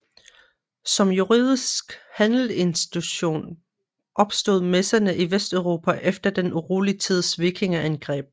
Som juridisk handelsinstitution opstod messerne i Vesteuropa efter den urolig tids vikingeangreb